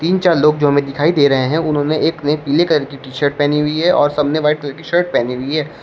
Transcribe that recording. तीन चार लोग जो हमें दिखाई दे रहे हैं उन्होंने एक ने पीले कलर की टी-शर्ट पहनी हुई है और सबने व्हाइट कलर की शर्ट पहनी हुई है।